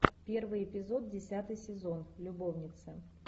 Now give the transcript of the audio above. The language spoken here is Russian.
первый эпизод десятый сезон любовница